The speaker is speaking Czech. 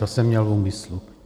To jsem měl v úmyslu.